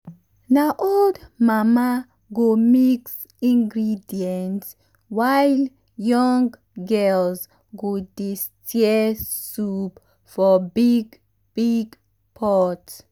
na old mama go mix ingredient while young girls go dey stir soup for big big pot.